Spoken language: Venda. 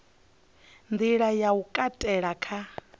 nḓila ya u katela kha